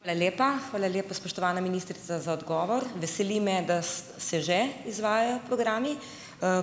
Hvala lepa. Hvala lepa, spoštovana ministrica, za odgovor. Veseli me, da se že izvajajo programi.